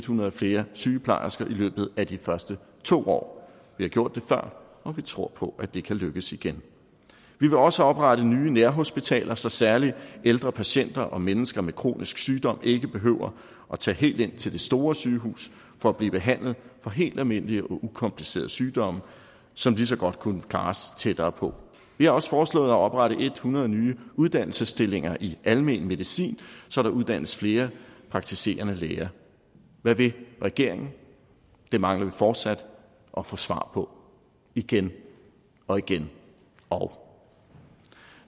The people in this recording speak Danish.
hundrede flere sygeplejersker i løbet af de første to år vi har gjort det før og vi tror på at det kan lykkes igen vi vil også oprette nye nærhospitaler så særlig ældre patienter og mennesker med kronisk sygdom ikke behøver at tage helt ind til det store sygehus for at blive behandlet for helt almindelige og ukomplicerede sygdomme som lige så godt kunne klares tættere på vi har også foreslået at oprette hundrede nye uddannelsesstillinger i almen medicin så der uddannes flere praktiserende læger hvad vil regeringen det mangler vi fortsat at få svar på igen og igen og